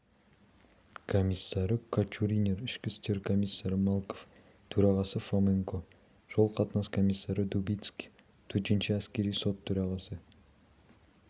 комиссары качуринер ішкі істер комиссары малков төрағасы фоменко жол-қатынас комиссары дубицкий төтенше әскери сот төрағасы